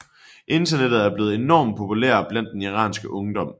Internettet er blevet enormt populære blandt den iranske ungdom